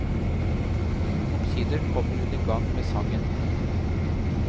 Omsider kommer hun i gang med sangen.